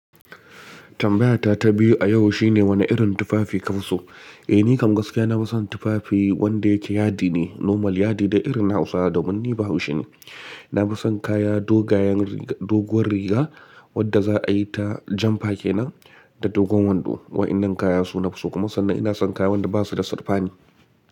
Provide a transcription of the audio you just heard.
Tambayata ta biyu a yau shine wane irin tufafi ka fi so? Eh, ni kam gaskiya na fi son tufafi wanda yake yadi ne, normal yadi da irin na Hausawa da munni bahushi ne. Na fi son kaya doguwar riga wadda za a yi ta jan fake na da dogon wando. Wa'innan kaya suna fi so kuma sannan ina son kaya wanda ba su da sarfani.